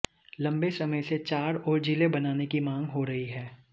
लम्बे समय से चार और जिले बनाने की मांग हो रही है